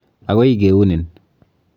Akoi keunin.